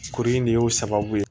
Kuru in de y'o sababu ye